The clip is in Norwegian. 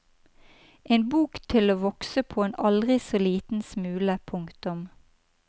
En bok til å vokse på en aldri så liten smule. punktum